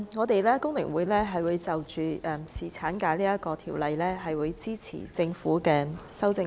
代理主席，就着侍產假這項條例，香港工會聯合會會支持政府的修正案。